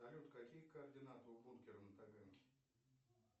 салют какие координаты у бункера на таганке